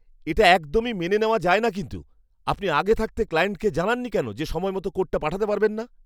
এটা একদমই মেনে নেওয়া যায় না কিন্তু, আপনি আগে থাকতে ক্লায়েন্টকে জানাননি কেন যে সময়মতো কোডটা পাঠাতে পারবেন না!